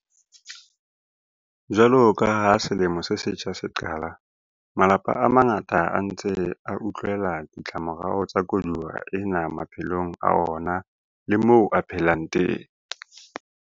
Jwalo ka ha selemo se setjha se qala, malapa a mangata a ntse a utlwela ditlamorao tsa koduwa ena maphelong a ona le moo a phelang teng.